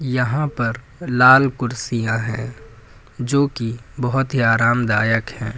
यहां पर लाल कुर्सियां है जोकि बहोत ही आरामदायक है।